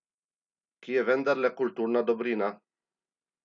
Ki je vendarle kulturna dobrina?